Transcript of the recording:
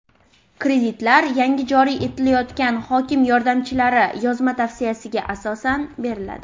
Kreditlar yangi joriy etilayotgan hokim yordamchilari yozma tavsiyasiga asosan beriladi.